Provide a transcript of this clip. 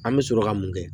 An bɛ sɔrɔ ka mun kɛ